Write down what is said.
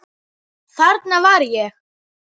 Þarna var ég.